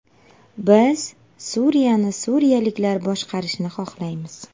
Biz Suriyani suriyaliklar boshqarishini xohlaymiz.